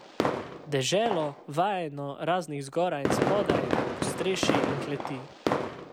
Deželo, vajeno raznih zgoraj in spodaj, podstrešij in kleti.